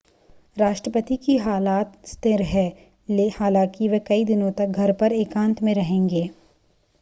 राष्ट्रपति की हालत स्थिर है हालांकि वह कई दिनों तक घर पर एकांत में रहेंगे